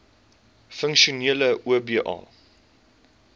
funksionele oba